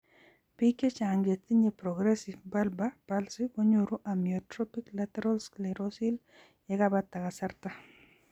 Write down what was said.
Biik chechang' chetinye progressive bulbar palsy konyoru amyotrophic lateral sclerosis yekebata kasarta.